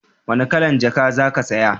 wani kalan jaka ka saya?